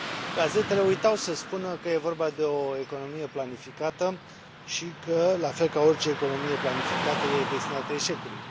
Gazetele uitau să spună că e vorba de o economie planificată și că, la fel ca orice economie planificată, e destinată eșecului.